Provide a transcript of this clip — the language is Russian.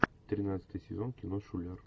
тринадцатый сезон кино шулер